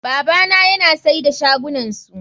Babana yana sai da shagunansu.